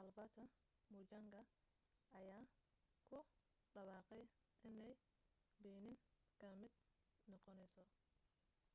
albert muchanga ayaa ku dhawaaqay inay benin ka mid noqonayso